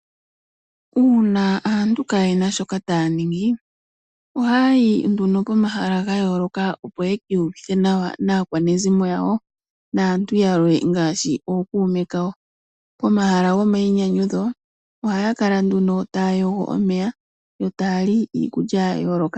Uuna aantu kayena shoka taya ningi ohaya yi komahala gayoloka opo ye kiiyuvithe nawa naakwanezimo yawo naantu yamwe ngaashi ookume kawo, pomahala gomayi nyanyudho ohaya kala nduno taya yogo omeya yo taya li iikulya ya yooloka.